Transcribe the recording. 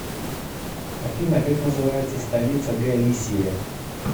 афина как называется столица галисия